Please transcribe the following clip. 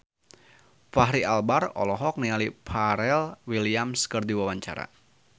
Fachri Albar olohok ningali Pharrell Williams keur diwawancara